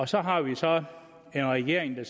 så har vi så en regering der